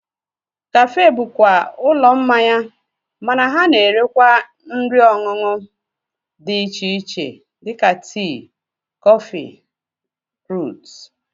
Kafe bụkwa ụlọ mmanya mana ha na-erekwa nri ọṅụṅụ dị iche iche dịka tii, kọfị, ruut